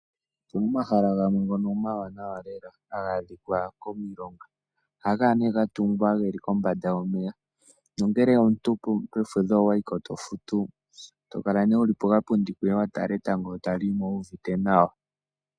Opuna omahala gamwe ngono omawanawa lela haga adhika komilonga. Ohaga kala gatungwa kombanda yomeya nongele omuntu owayi ko kefudho tofutu eto kala wuli pokapundi koye wa tala etango tali ningine.